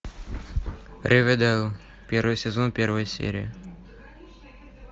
ривердейл первый сезон первая серия